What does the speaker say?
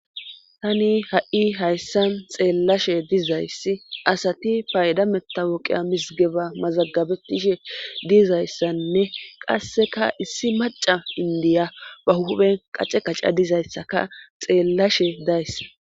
tani ha7i hayssan xeellashe dizayssi asati paydamettawoqiya misgeba mazagabetishe diizayssanne qasseka issi maca indiya ba huben qace qaca dizayssaka xeellashe dayssa